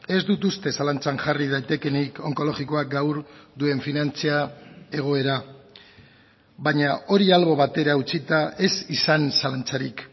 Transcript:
ez dut uste zalantzan jarri daitekeenik onkologikoak gaur duen finantza egoera baina hori albo batera utzita ez izan zalantzarik